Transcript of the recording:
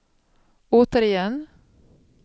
återigen